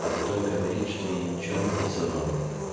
а потом говорит что я ничего не присылал